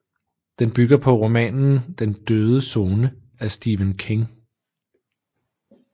Den bygger på romanen Den døde zone af Stephen King